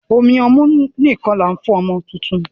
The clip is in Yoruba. Omí ọmu nìkan ní a fún ọmọ tuntun.